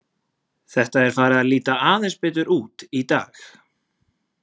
Þetta er farið að líta aðeins betur út í dag.